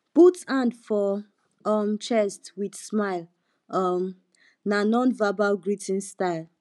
put hand for um chest with smile um na nonverbal greeting style